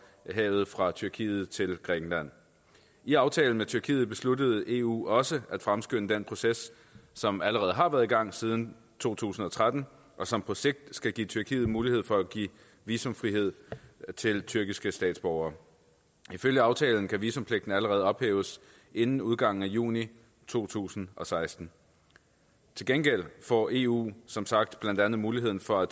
havet fra tyrkiet til grækenland i aftalen med tyrkiet besluttede eu også at fremskynde den proces som allerede har været i gang siden to tusind og tretten og som på sigt skal give tyrkiet mulighed for at give visumfrihed til tyrkiske statsborgere ifølge aftalen kan visumpligten allerede ophæves inden udgangen af juni to tusind og seksten til gengæld får eu som sagt blandt andet muligheden for at